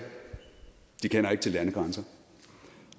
kender ikke til landegrænser